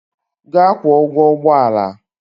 Gaa kwụọ ụgwọ ụgbọ ala!